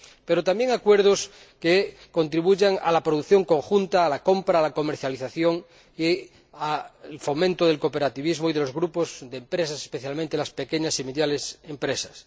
pero también acuerdos que contribuyan a la producción conjunta, a la compra, a la comercialización, al fomento del cooperativismo y de los grupos de empresas, especialmente las pequeñas y medianas empresas.